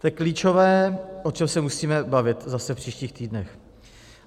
To je klíčové, o čem se musíme bavit zase v příštích týdnech.